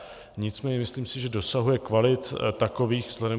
Nicméně myslím si, že dosahuje kvalit takových vzhledem...